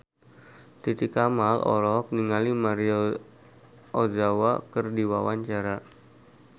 Titi Kamal olohok ningali Maria Ozawa keur diwawancara